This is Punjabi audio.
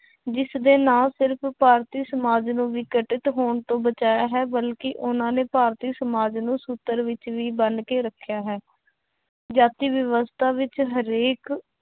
ਜਿਸਦੇ ਨਾ ਸਿਰਫ਼ ਭਾਰਤੀ ਸਮਾਜ ਨੂੰ ਹੋਣ ਤੋਂ ਬਚਾਇਆ ਹੈ ਬਲਕਿ ਉਹਨਾਂ ਨੇ ਭਾਰਤੀ ਸਮਾਜ ਨੂੰ ਸੂਤਰ ਵਿੱਚ ਵੀ ਬੰਨ ਕੇ ਰੱਖਿਆ ਹੈ, ਜਾਤੀ ਵਿਵਸਥਾ ਵਿੱਚ ਹਰੇਕ